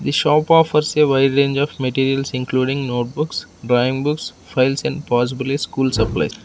the shop offers a wide range of materials including notebooks drawing books files and possibly school supply.